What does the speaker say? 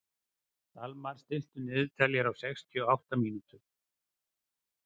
Dalmar, stilltu niðurteljara á sextíu og átta mínútur.